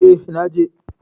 Eh, na je.